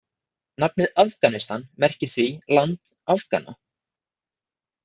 Nafnið Afganistan merkir því „land Afgana “.